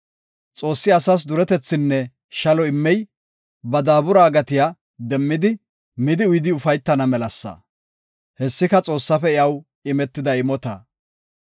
Xoossi asas duretethinne shalo immey, ba daabura gatiya demmidi, midi uyidi ufaytana melasa; hessika Xoossaafe iyaw imetida imota.